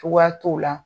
Cogoya t'o la